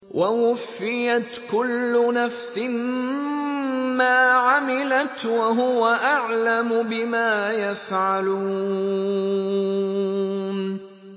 وَوُفِّيَتْ كُلُّ نَفْسٍ مَّا عَمِلَتْ وَهُوَ أَعْلَمُ بِمَا يَفْعَلُونَ